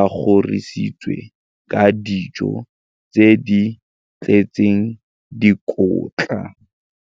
a kgorisitswe ka dijo tse di tletseng dikotla.